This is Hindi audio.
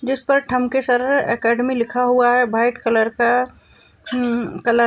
जिसपे ठमके सर अकॅडमी लिखा हुआ है व्हाइट कलर का म्ह कल --